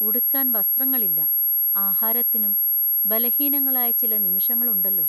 ഉടുക്കാൻ വസ്ത്രങ്ങളില്ല; ആഹാരത്തിനും ബലഹീനങ്ങളായ ചില നിമിഷങ്ങളുണ്ടല്ലോ!